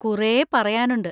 കുറേ പറയാനുണ്ട്.